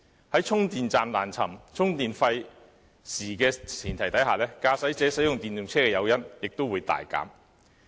在充電站難尋、充電費時的前提下，駕駛者使用電動車的誘因亦會大減。